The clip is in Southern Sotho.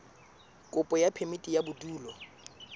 kopo ya phemiti ya bodulo